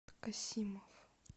касимов